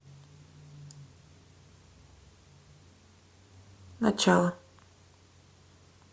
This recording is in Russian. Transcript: начало